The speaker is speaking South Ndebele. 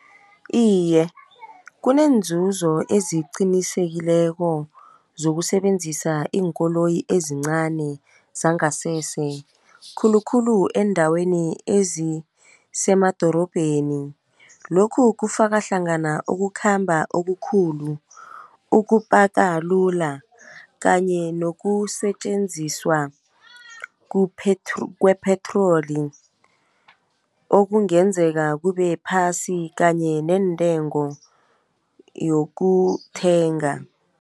Iye, kunenzuzo eziqinisekileko zokusebenzisa iinkoloyi ezincani zangasese, khulukhulu eendaweni ezisemadorobheni, lokhu kufakahlangana ukukhamba okukhulu, ukupakalula kanye nokusetjenziswa kwepetroli okungenzeka kubephasi kanye neentengo yokuthenga.